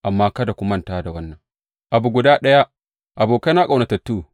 Amma kada ku manta da wannan abu guda ɗaya, abokaina ƙaunatattu.